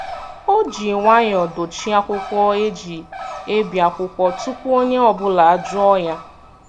O ji nwayọọ dochie akwụkwọ e ji ebi akwụkwọ tupu onye ọ bụla ajụọ ya.